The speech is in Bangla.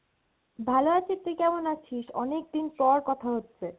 ভালো আছি, তুই কেমন আছিস? অনেক দিন পর কথা হচ্ছে।